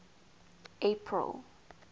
april